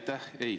Aitäh!